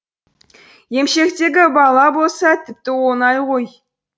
емшектегі бала болса тіпті оңай ғой